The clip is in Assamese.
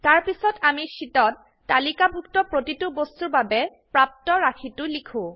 তাৰপিছত আমি শীটত তালিকাভুক্ত প্ৰতিটো বস্তুৰ বাবে প্ৰাপ্ত ৰাশিটো লিখো